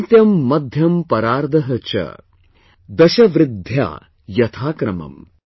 अन्त्यं मध्यं परार्ध च, दश वृद्ध्या यथा क्रमम् ||